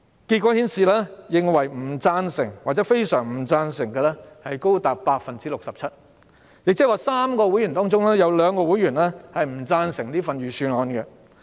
結果顯示，不贊成或非常不贊成的人數高達 67%， 即每3名會員，便有兩名會員不贊成這份預算案。